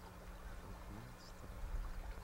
фрагмент страха